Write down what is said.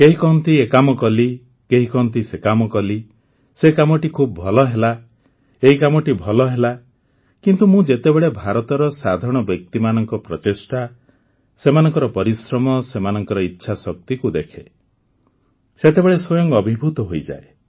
କେହି କହନ୍ତି ଏ କାମ କଲି କେହି କହନ୍ତି ସେ କାମ କଲି ସେ କାମଟି ଖୁବ ଭଲ ହେଲା ଏଇ କାମଟି ଭଲ ହେଲା କିନ୍ତୁ ମୁଁ ଯେତେବେଳେ ଭାରତର ସାଧାରଣ ବ୍ୟକ୍ତିମାନଙ୍କ ପ୍ରଚେଷ୍ଟା ସେମାନଙ୍କ ପରିଶ୍ରମ ସେମାନଙ୍କ ଇଚ୍ଛାଶକ୍ତିକୁ ଦେଖେ ସେତେବେଳେ ସ୍ୱୟଂ ଅଭିଭୂତ ହୋଇଯାଏ